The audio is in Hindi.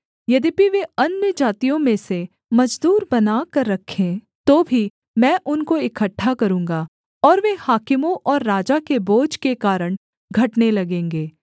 यद्यपि वे अन्यजातियों में से मजदूर बनाकर रखें तो भी मैं उनको इकट्ठा करूँगा और वे हाकिमों और राजा के बोझ के कारण घटने लगेंगे